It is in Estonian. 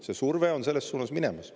See surve on selles suunas minemas.